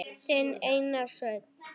Þinn Einar Sveinn.